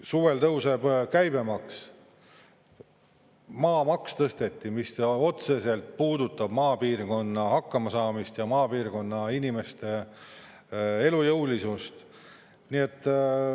Suvel tõuseb käibemaks, maamaksu tõsteti, mis otseselt puudutab maapiirkonnas hakkama saamist ja maapiirkonna inimeste elujõulisust.